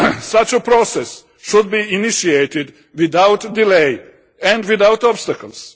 Such a process should be initiated without delay and without obstacles.